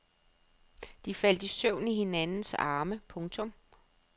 De faldt i søvn i hinandens arme. punktum